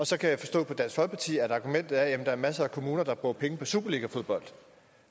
så kan jeg forstå på dansk folkeparti at argumentet er at der er masser af kommuner der bruger penge på superligafodbold